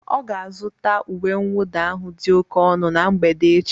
Ọ ga-azụta uwe mwụda ahụ dị oke ọnụ na mgbede echi